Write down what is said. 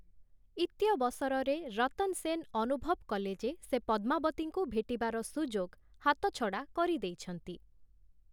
ଇତ୍ୟବସରରେ ରତନ୍‌ ସେନ୍ ଅନୁଭବ କଲେ ଯେ, ସେ ପଦ୍ମାବତୀଙ୍କୁ ଭେଟିବାର ସୁଯୋଗ ହାତଛଡ଼ା କରିଦେଇଛନ୍ତି ।